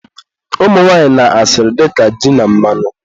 umunwanyị na asịrị dịka ji na mmanụ.